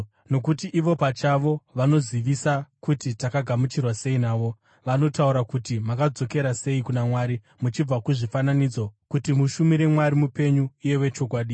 nokuti ivo pachavo vanozivisa kuti takagamuchirwa sei navo. Vanotaura kuti makadzokera sei kuna Mwari muchibva kuzvifananidzo kuti mushumire Mwari mupenyu uye wechokwadi,